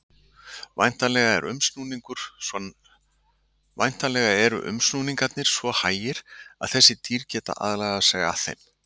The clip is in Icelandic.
Væntanlega eru umsnúningarnir svo hægir að þessi dýr geti aðlagað sig að þeim.